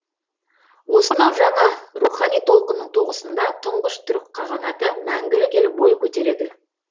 осынау жаңа рухани толқынның тоғысында тұңғыш түркі қағанаты мәңгілік ел бой көтереді